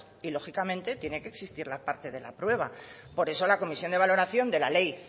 y lógicamente tiene que existir la parte de la prueba por eso la comisión de valoración de la ley